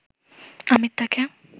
আমির তাকে